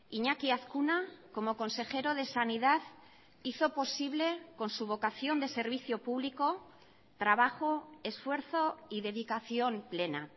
iñaki azkuna como consejero de sanidad hizo posible con su vocación de servicio público trabajo esfuerzo y dedicación plena